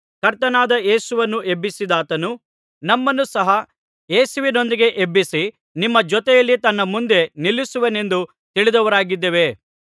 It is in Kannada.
ಕರ್ತನಾದ ಯೇಸುವನ್ನು ಎಬ್ಬಿಸಿದಾತನು ನಮ್ಮನ್ನು ಸಹ ಯೇಸುವಿನೊಂದಿಗೆ ಎಬ್ಬಿಸಿ ನಿಮ್ಮ ಜೊತೆಯಲ್ಲಿ ತನ್ನ ಮುಂದೆ ನಿಲ್ಲಿಸುವನೆಂದು ತಿಳಿದವರಾಗಿದ್ದೇವೆ